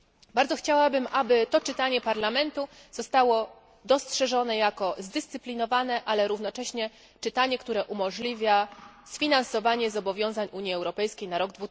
Bardzo chciałabym, aby to czytanie Parlamentu zostało dostrzeżone jako zdyscyplinowane, ale równocześnie czytanie, które umożliwia sfinansowanie zobowiązań Unii Europejskiej na rok